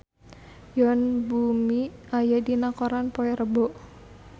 Yoon Bomi aya dina koran poe Rebo